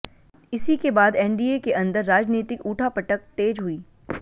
इसी के बाद एनडीए के अंदर राजनीतिक उठापटक तेज हुई